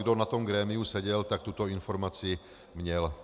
Kdo na tom grémiu seděl, tak tuto informaci měl.